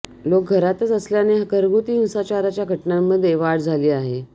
लोक घरातच असल्याने घरगुती हिंसाचारच्या घटनांमध्ये वाढ झाली आहे